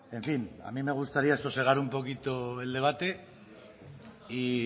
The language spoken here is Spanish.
en fin a mí me gustaría sosegar un poquito el debate y